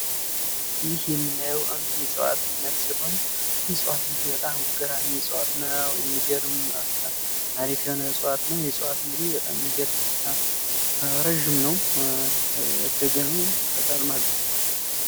ይህ የምናየው እንግዲህ የእጽዋት አይነት ሲሆን ፤ ይህ እጽዋት እንግዲህ በጣም ገራሚ ነው፣ ረዥም ነው ፣ ያደገ ነው፣ ቅጠልም አለው።